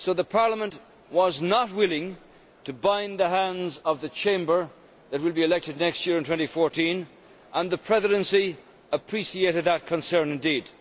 Parliament was not willing to bind the hands of the Chamber that will be elected next year in 2014, and the Presidency appreciated that concern indeed.